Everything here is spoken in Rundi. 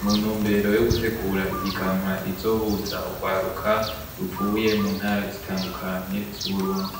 mu ntumbero yo gutegura ihiganwa rizohuza urwaruka ruvuye mu ntara zitandukanye z'uburundi.